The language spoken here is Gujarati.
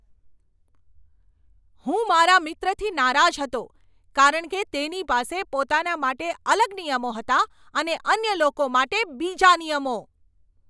હું મારા મિત્રથી નારાજ હતો કારણ કે તેની પાસે પોતાના માટે અલગ નિયમો હતા અને અન્ય લોકો માટે બીજા નિયમો.